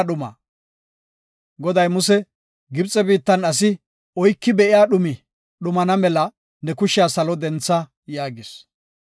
Goday Muse, “Gibxe biittan asi oyki be7iya dhumi dhumana mela ne kushiya salo dentha” yaagis.